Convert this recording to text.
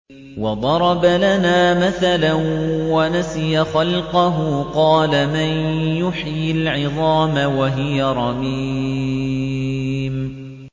وَضَرَبَ لَنَا مَثَلًا وَنَسِيَ خَلْقَهُ ۖ قَالَ مَن يُحْيِي الْعِظَامَ وَهِيَ رَمِيمٌ